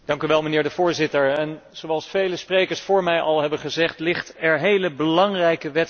Zoals vele sprekers voor mij al hebben gezegd ligt er heel belangrijke wetgeving op tafel.